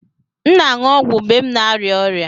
M na-aṅụ ọgwụ mgbe m na-arịa ọrịa